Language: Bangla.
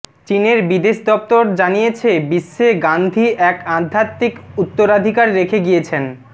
চিনের বিদেশ দপ্তর জানিয়েছে বিশ্বে গান্ধী এক আধ্যাত্মিক উত্তরাধিকার রেখে গিয়েছেন